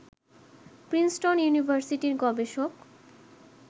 Princeton ইউনিভার্সিটির গবেষক